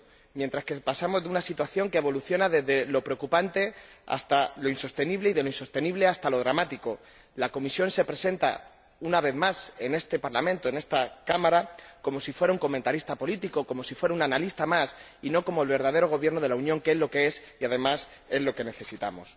mientras pasamos de una situación que evoluciona desde lo preocupante hasta lo insostenible y de lo insostenible hasta lo dramático, la Comisión se presenta, una vez más, en este Parlamento, como si fuera un comentarista político, como si fuera un analista más, y no como el verdadero Gobierno de la Unión, que es lo que es y, además, es lo que necesitamos.